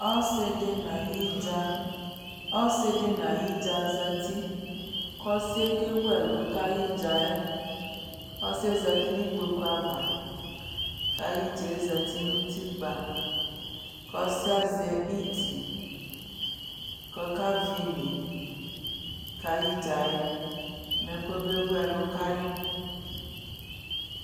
Ɔsɩdɩ nʊ ayɩdza zatɩ kʊ ɔsɩɛ kewʊ ɛlu kʊ ayʊ ɩdza yɛ ɔsɩyɛ za ʊtɩ nʊ ikpokʊ ava kʊ ayʊ ɩdza yɛ zatɩ nʊ ʊtɩkpa kʊ ɔsɩ yɛ azɛ iti kʊ ɔkavɩ ɩne kʊ ayʊ ɩdza yɛ mɛ kɔbe wʊ ɛlu kayi